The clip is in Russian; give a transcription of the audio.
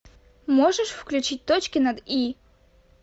можешь включить точки над и